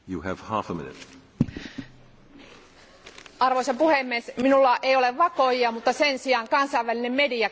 Arvoisa puhemies, minulla ei ole vakoojia, mutta sen sijaan kansainvälinen media kertoo siitä, mitä tapahtuu Romaniassa ja Bulgariassa.